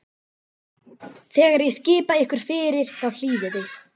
Þegar ég skipa ykkur fyrir, þá hlýðið þið.